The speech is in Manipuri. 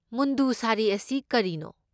ꯃꯨꯟꯗꯨ ꯁꯥꯔꯤ ꯑꯁꯤ ꯀꯔꯤꯅꯣ?